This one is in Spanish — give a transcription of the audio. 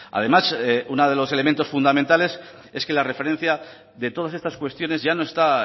además uno de los elementos fundamentales es que la referencia de todas estas cuestiones ya no está